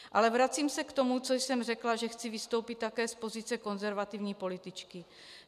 Ale vracím se k tomu, co jsem řekla, že chci vystoupit také z pozice konzervativní političky.